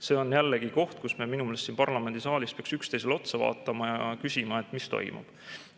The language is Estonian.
See on jällegi koht, kus me minu meelest siin parlamendisaalis peaks üksteisele otsa vaatama ja küsima, mis toimub.